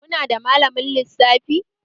Ku nada malamin lissafi?